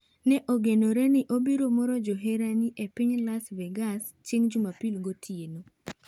Ne ogenoreni obiro moro joherani epiny Las Vegas chieng' Jumapil gotieno.